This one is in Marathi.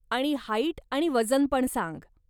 आणि हाईट आणि वजन पण सांग.